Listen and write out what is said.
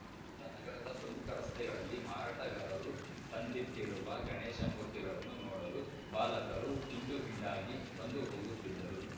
ಇತ್ತ ನಗರದ ಪ್ರಮುಖ ರಸ್ತೆಗಳಲ್ಲಿ ಮಾರಾಟಗಾರರು ತಂದಿಟ್ಟಿರುವ ಗಣೇಶ ಮೂರ್ತಿಗಳನ್ನು ನೋಡಲು ಬಾಲಕರು ಹಿಂಡು ಹಿಂಡಾಗಿ ಬಂದುಹೋಗುತ್ತಿದ್ದರು